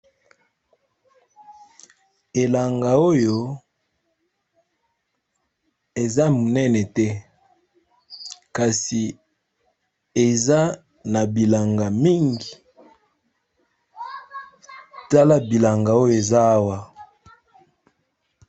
Elanga oyo eza monene te, kasi eza na bilanga mingi tala bilanga oyo eza awa.